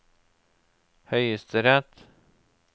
høyesterett